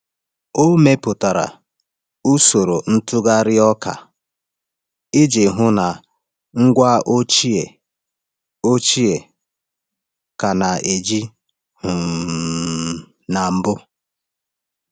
Ọ mepụtara usoro ntụgharị ọka iji hụ na ngwa ochie ochie ka na-eji um na mbụ.